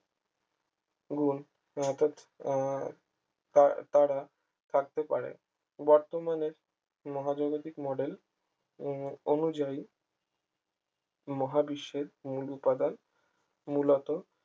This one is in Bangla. গুন অর্থাৎ আহ তারা থাকতে পারে বর্তমানে মহাজাগতিক model উম অনুযায়ী মহাবিশ্বের মূল উপাদান মূলত